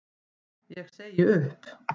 Ég segi upp!